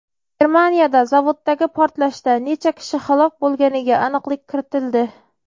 Germaniyada zavoddagi portlashda necha kishi halok bo‘lganiga aniqlik kiritildi.